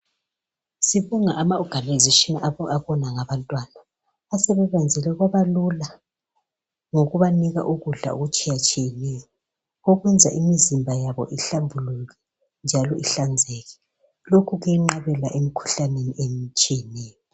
sibonga ama organisation abona ngabantwana asebekwenzele kwabalula ngokubanika ukudla okutshiyatshiyeneyo okwenza imizimba yabo ihlambuluke njalo ihlanzeke lokhu kuyenqabela emikhuhlaneni etshiyeneyo